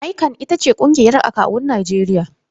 ICAN ita ce ƙungiyar akawun Najeriya.